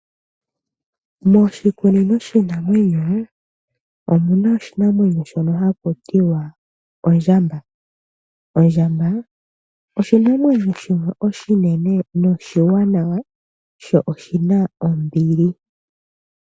Moshikunino shiinamwenyo omuna oshinamwenyo shono haku tiwa ondjamba. Ondjamba oshinamwenyo shono oshinene noshiwanawa sho oshina ombili.